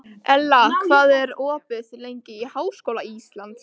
Ella, hvað er opið lengi í Háskóla Íslands?